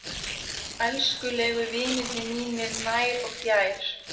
Elskulegu vinirnir mínir nær og fjær